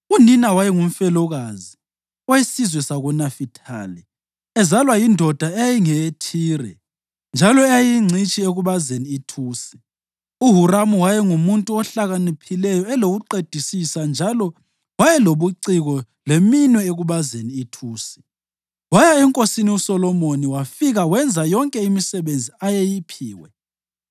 Unina wayengumfelokazi owesizwe sakoNafithali ezalwa yindoda eyayingeyeThire njalo eyayiyingcitshi ekubazeni ithusi. UHuramu wayengumuntu ohlakaniphileyo elokuqedisisa njalo wayelobuciko leminwe ekubazeni ithusi. Waya enkosini uSolomoni wafika wenza yonke imisebenzi ayeyiphiwe.